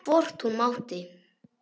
Hvort hún mátti!